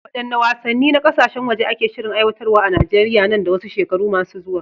Waɗanne wasanni na kasashen waje ake shirin aiwatarwa a Najeriya nan da wasu shekaru masu zuwa?